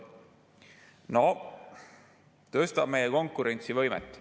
Noh, tõstab meie konkurentsivõimet.